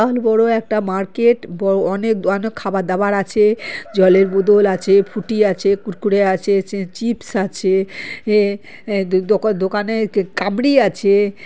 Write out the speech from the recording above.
আর বড় একটা মার্কেট বড় অনেক খাবার দাবার আছে জলের বোতল আছে ফুটি আছে কুড়কুড়ে আছে চিপস আছে এ- - দোকানে কামড়ি আছে ।